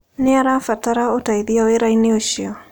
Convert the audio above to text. Nĩ ũrabatara ũteithio wĩra-inĩ ũcio?